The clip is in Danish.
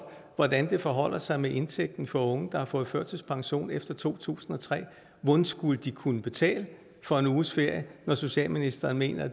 hvordan det forholder sig med indtægten for unge der har fået førtidspension efter to tusind og tre hvordan skulle de kunne betale for en uges ferie når socialministeren mener